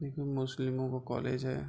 ये कोई मुस्लिमो का कॉलेज है।